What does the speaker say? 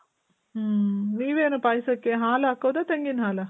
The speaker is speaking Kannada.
ಮ್ಮ್. ನೀವೇನು ಪಾಯಸಕ್ಕೆ ಹಾಲ್ ಹಾಕೊದ ತೆಂಗಿನ್ ಹಾಲ?